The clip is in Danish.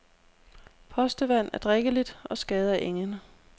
Postevand er drikkeligt og skader ingen.